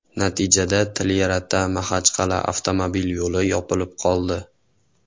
Natijada TlyarataMaxachqal’a avtomobil yo‘li yopilib qoldi.